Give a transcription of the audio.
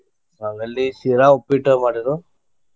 ಹೌದ ಅಲ್ಲಿ ಶಿರಾ, ಉಪ್ಪಿಟ್ಟು ಮಾಡಿರು.